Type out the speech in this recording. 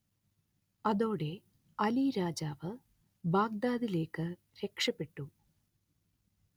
അതോടെ അലി രാജാവ് ബാഗ്ദാദിലേക്ക് രക്ഷപെട്ടു